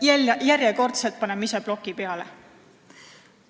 Me paneme järjekordselt ise bloki peale!